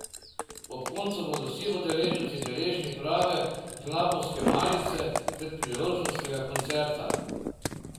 Ob koncu bodo vsi udeleženci deležni prave knapovske malice ter priložnostnega koncerta.